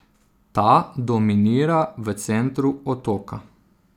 Ta dominira v centru otoka.